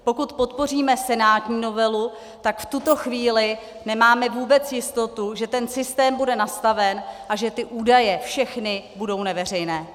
Pokud podpoříme senátní novelu, tak v tuto chvíli nemáme vůbec jistotu, že ten systém bude nastaven a že ty údaje, všechny, budou neveřejné.